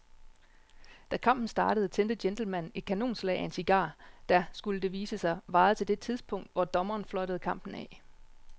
Da kampen startede tændte gentlemanen et kanonslag af en cigar, der, skulle det vise sig, varede til det tidspunkt, hvor dommeren fløjtede kampen af.